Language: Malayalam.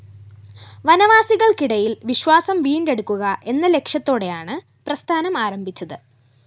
വനവാസികള്‍ക്കിടയില്‍ വിശ്വാസം വീണ്ടെടുക്കുക എന്ന ലക്ഷ്യത്തോടെയാണ് പ്രസ്ഥാനം ആരംഭിച്ചത്